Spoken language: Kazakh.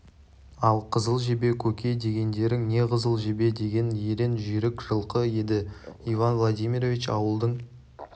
ал қызыл жебе көке дегендерің не қызыл жебе деген ерен жүйрік жылқы еді иван владимирович ауылдың